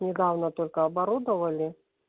недавно только оборудовали